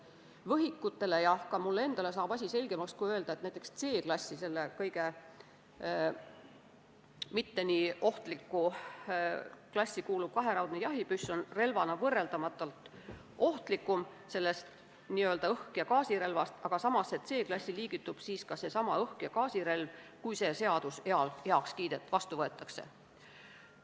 Võhikutele ja ka mulle endale saab asi selgemaks, kui öelda, et näiteks C-klassi – sellesse mitte nii ohtlikku klassi – kuuluv kaheraudne jahipüss on relvana võrreldamatult ohtlikum kui õhk- ja gaasirelv, samas liigituks C-klassi ka seesama õhk- ja gaasirelv, juhul kui see seadus vastu võetakse.